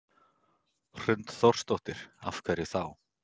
Hrund Þórsdóttir: Af hverju þá?